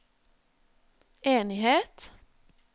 enighet